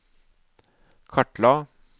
kartla